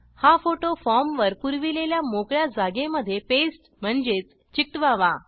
हा photo form वर पुरविलेल्या मोकळ्या जागे मध्ये पेस्ट म्हणजेच चिकटवावा